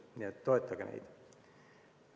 Nii et toetage meid.